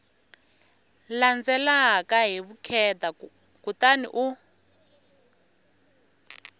landzelaka hi vukheta kutani u